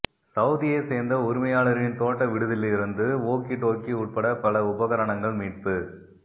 சவூதியைச்சேர்ந்த உரிமையாளரின் தோட்ட விடுதியிலிருந்து வோக்கிடோக்கி உட்பட பல உபகரணங்கள் மீட்பு